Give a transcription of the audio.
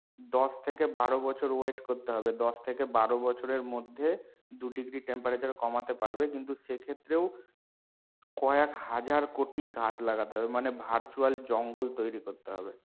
দশ থেকে বারো বছর wait করতে হবে, দশ থেকে বারো বছর এর মধ্যে দুই degree temperature কমাতে পারবে কিন্তু সেক্ষেত্রেও কয়েক হাজার কোটি গাছ লাগাতে হবে মানে virtual জঙ্গল তৈরি করতে হবে।